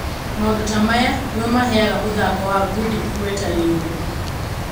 "Maũndũ tamaya nĩmo maheyaga mũthako wa ngundi ĩgweta rĩũrũ.